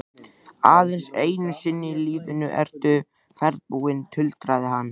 Aðeins einu sinni í lífinu ertu ferðbúinn, tuldraði hann.